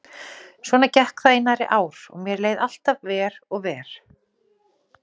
Svona gekk það í nærri ár og mér leið alltaf verr og verr.